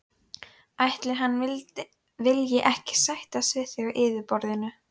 Ætli hann vilji ekki sættast við þig á yfirborðinu.